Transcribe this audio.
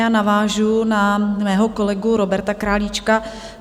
Já navážu na svého kolegu Roberta Králíčka.